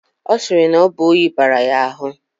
A siri na obu onyi bara ya ahu